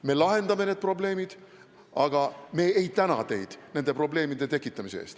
Me lahendame need probleemid, aga me ei täna teid nende probleemide tekitamise eest.